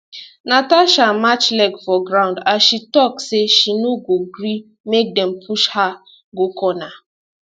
natasha match leg for ground as she tok say she no go gree make dem push her go corner